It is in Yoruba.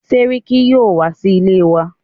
Sẹ́ríkí yín wá sí ilé wa.